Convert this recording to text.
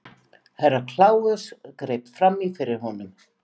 Herra Kláus greip fram í fyrir honum.